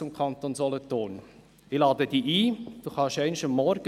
Das sind einfach Fakten.